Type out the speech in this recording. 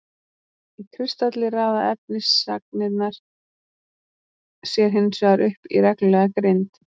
Í kristalli raða efnisagnirnar sér hinsvegar upp í reglulega grind.